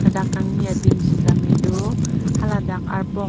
ladak kangni adim sitame do haladak arpong--